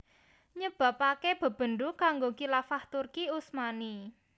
nyebabaké bebendu kanggo Khilafah Turki Utsmani